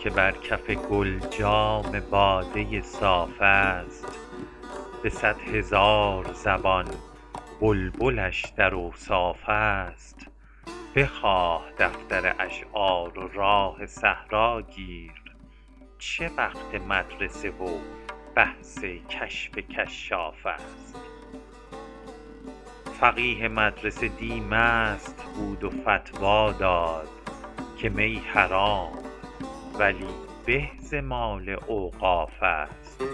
کنون که بر کف گل جام باده صاف است به صد هزار زبان بلبلش در اوصاف است بخواه دفتر اشعار و راه صحرا گیر چه وقت مدرسه و بحث کشف کشاف است فقیه مدرسه دی مست بود و فتوی داد که می حرام ولی به ز مال اوقاف است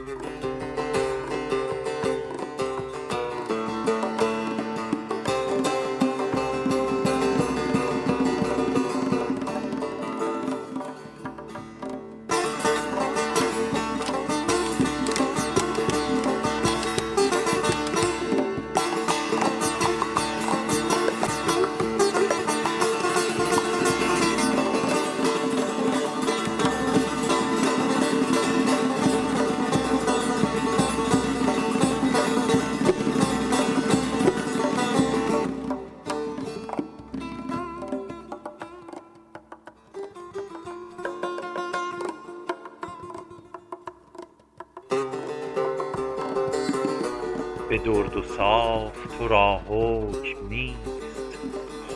به درد و صاف تو را حکم نیست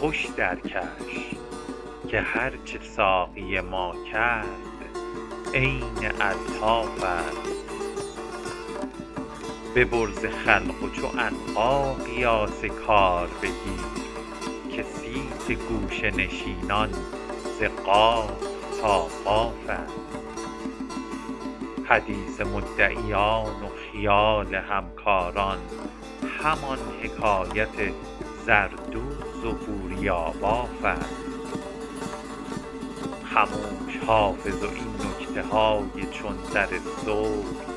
خوش درکش که هرچه ساقی ما کرد عین الطاف است ببر ز خلق و چو عنقا قیاس کار بگیر که صیت گوشه نشینان ز قاف تا قاف است حدیث مدعیان و خیال همکاران همان حکایت زردوز و بوریاباف است خموش حافظ و این نکته های چون زر سرخ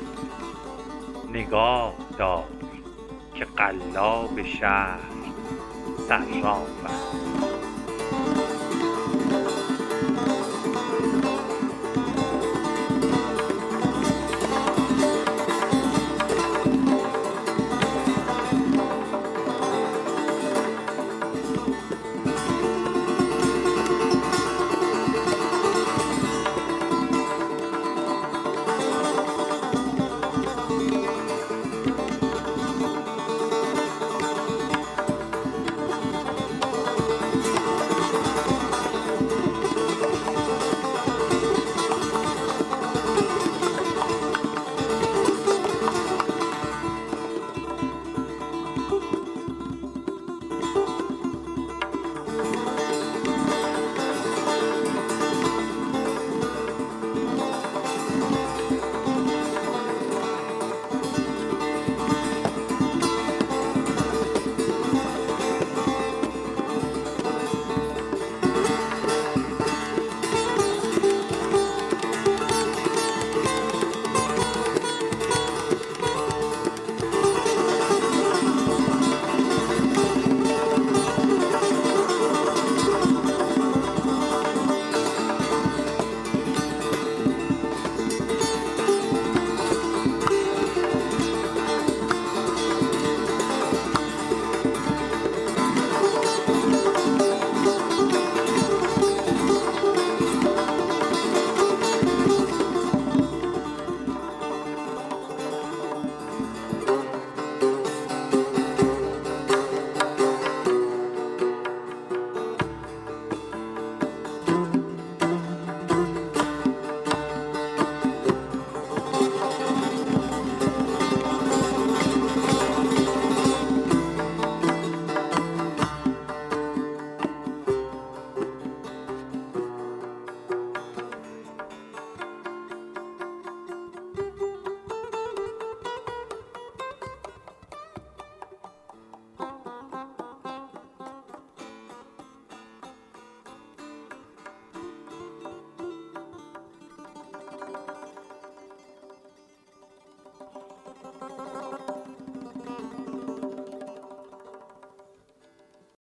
نگاه دار که قلاب شهر صراف است